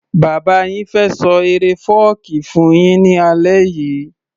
Bàbá yin fẹ́ ṣọ eré fọ́ọ̀kí fún yín ní alẹ́ yìí